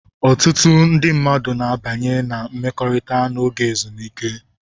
Ọtụtụ ndị mmadụ na-abanye na mmekọrịta n'oge ezumike.